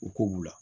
U ko b'u la